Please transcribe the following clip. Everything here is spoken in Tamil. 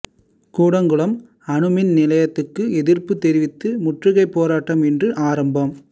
கூடங்குளம் அணுமின் நிலையத்துக்கு எதிர்ப்புத் தெரிவித்து முற்றுகைப் போராட்டம் இன்று ஆரம்பம்